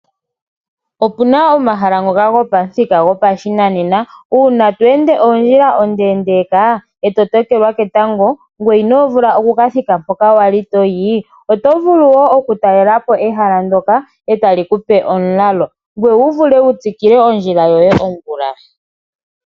Opuna omahala ngoka gomuthika gopashinanena. Uuna to ende ondjila onde eto tokelwa ketango ,ngoye ino vula we okukathika mpoka wali toyi oto vulu woo oku talelapo ehala ndoka etali kupe omulalo ngoye wuvule wu tsikile ondjila yoye ongula.